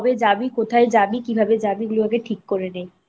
কোথায় যাবি কিভাবে যাবি এগুলো আগে ঠিক করে নে